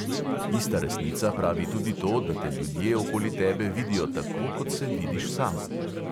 Ista resnica pravi tudi to, da te ljudje okoli tebe vidijo tako, kot se vidiš sam.